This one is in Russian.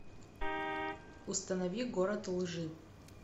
установи город лжи